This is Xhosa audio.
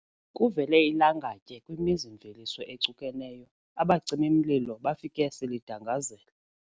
Kuvele ilangatye kwimizi-mveliso ecukeneyo, abacimi-mlilo bafike selidangazela.